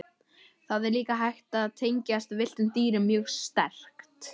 Það er líka hægt að tengjast villtum dýrum mjög sterkt.